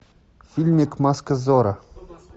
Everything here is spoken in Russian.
фильмик маска зорро